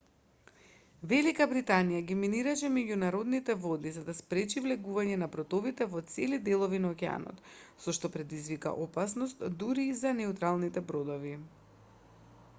велика британија ги минираше меѓународните води за да спречи влегување на бродовите во цели делови на океанот со што предизвика опасност дури и за неутралните бродови